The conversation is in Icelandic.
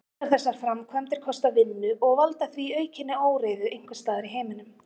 Allar þessar framkvæmdir kosta vinnu og valda því aukinni óreiðu einhvers staðar í heiminum.